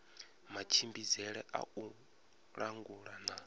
matshimbidzele a u langula na